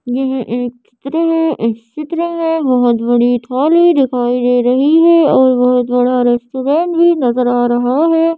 यह एक चित्र है एक चित्र में बहुत बड़ी थोड़ी दिखाई दे रही है और बहुत बड़ा रेस्टोरेंट भी नजर आ रहा है।